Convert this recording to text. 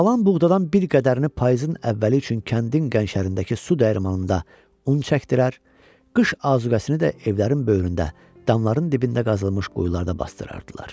Qalan buğdadan bir qədərini payızın əvvəli üçün kəndin gəncərindəki su dəyirmanında un çəkdirər, qış azuqəsini də evlərin böyründə, damların dibində qazılmış quyularda basdırardılar.